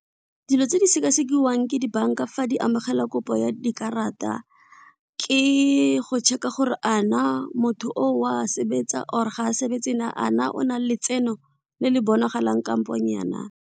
Dilo tse di seka sekiwa ke dibanka fa di amogela kopo ya dikarata ke go check-a gore a na motho oo wa sebetsa or ga a sebetse a na ona letseno le le bonagalang kampo nyaa.